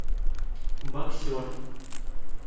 боксер